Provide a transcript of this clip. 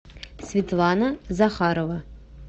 светлана захарова